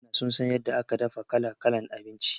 Mutanan Chaina sun san yadda aka dafa kala-kalan abinci